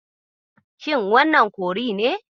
Shin wannan kori ne?